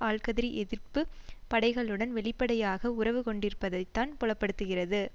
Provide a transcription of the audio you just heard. ஆல்கதிரி எதிர்ப்பு படைகளுடன் வெளிப்படையாக உறவு கொண்டிருப்பதைத்தான் புலப்படுத்துகிறது